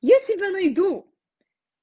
я тебя найду